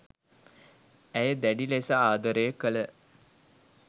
ඇය දැඩි ලෙස ආදරය කළ